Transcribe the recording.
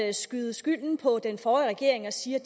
at skyde skylden på den forrige regering og sige at